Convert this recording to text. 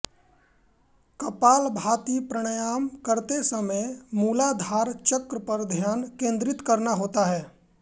कपालभाती प्राणायाम करते समय मूलाधार चक्र पर ध्यान केन्द्रित करना होता है